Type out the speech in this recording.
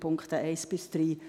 Annahme der Punkte 1 bis 3;